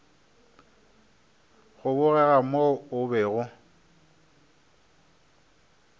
go bogega mo o bego